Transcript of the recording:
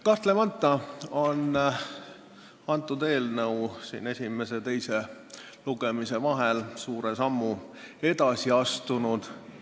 Kahtlemata on see eelnõu esimese ja teise lugemise vahel suure sammu edasi astunud.